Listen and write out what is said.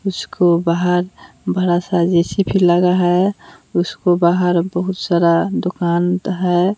उसको बाहर बड़ा सा जे_सी_बी लगा है उसको बाहर बहुत सारा दुकान हैं।